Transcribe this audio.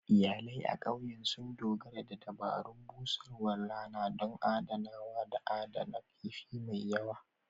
Iyalai a ƙauyen sun dogara da dabarun busarwar rana don adanawa da adana kifin mai yawa.